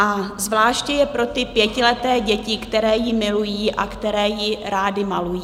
A zvláště je pro ty pětileté děti, které ji milují a které ji rády malují.